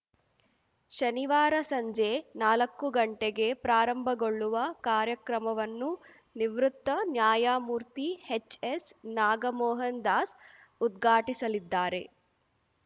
ಶನಿವಾರ ಸಂಜೆ ನಾಲಕ್ಕು ಗಂಟೆಗೆ ಪ್ರಾರಂಭಗೊಳ್ಳುವ ಕಾರ್ಯಕ್ರಮವನ್ನು ನಿವೃತ್ತ ನ್ಯಾಯಮೂರ್ತಿ ಎಚ್‌ಎಸ್‌ ನಾಗಮೋಹನ್‌ ದಾಸ್‌ ಉದ್ಘಾಟಿಸಲಿದ್ದಾರೆ